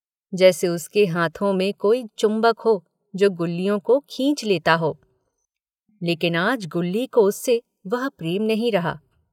जैसे उसके हाथों में कोई चुम्बक हो जो गुल्लियों को खींच लेता हो लेकिन आज गुल्ली को उससे वह प्रेम नहीं रहा।